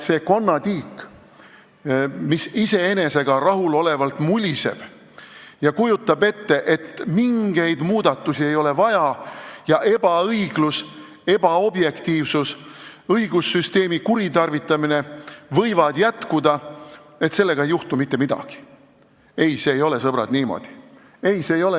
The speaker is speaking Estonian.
Konnatiik muliseb iseendaga rahul olles ja kujutab ette, et mingeid muudatusi ei ole vaja ning ebaõiglus, ebaobjektiivsus ja õigussüsteemi kuritarvitamine võivad jätkuda, sellega ei juhtu mitte midagi – ei, see ei ole, sõbrad, niimoodi.